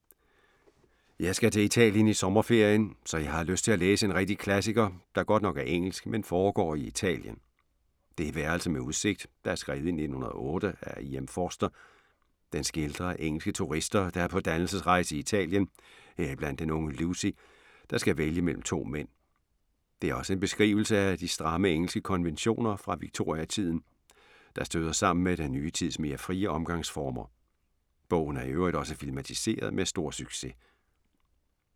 Jeg skal til Italien i sommerferien. Så jeg har lyst til at læse en rigtig klassiker, der godt nok er engelsk, men foregår i Italien. Det er Værelse med udsigt, der er skrevet i 1908 af E. M. Forster. Den skildrer engelske turister, der er på dannelsesrejse i Italien, heriblandt den unge Lucy, der skal vælge mellem to mænd. Det er også en beskrivelse af de stramme engelske konventioner fra Victoria-tiden, der støder sammen med den nye tids mere frie omgangsformer. Bogen er i øvrigt også filmatiseret med stor succes.